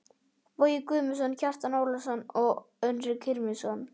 Bogi Guðmundsson, Kjartan Ólafsson og Ísak Örn Hringsson.